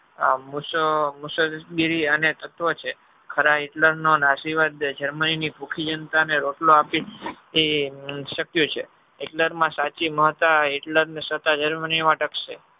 મુસાલગીરી અને તત્વ છે ખરા Hitler નો નાશી વાદ germany ની ભૂખી જનતાને રોટલો આપી એ શક્ય છે Hitler ની સાચી મહતા Hitler સાત germany ટકશે